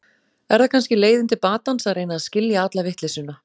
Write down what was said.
Er það kannski leiðin til batans að reyna að skilja alla vitleysuna.